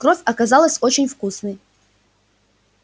кровь оказалась очень вкусной